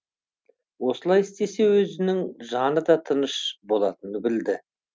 осылай істесе өзінің жаны да тыныш болатынын білді